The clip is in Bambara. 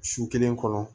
Su kelen kɔnɔ